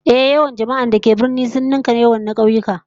Ehh, yawan jama'ar da ke birni sun nunnunka yawan na kauyuka